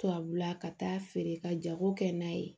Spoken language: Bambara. Tubabula ka taa feere ka jago kɛ n'a ye